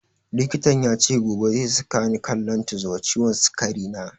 Likitan yace gobe zai saka ni kan lantus wa ciwon sikari na